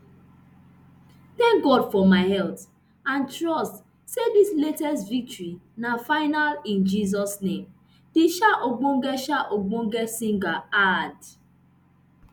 tank god for my health and trust say dis latest victory na final in jesus name di um ogbonge um ogbonge singer add